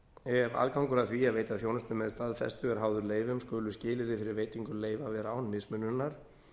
ef aðgangur að því að veita þjónustu með staðfestu er háður leyfum skulu skilyrði fyrir veitingu leyfa vera án mismununar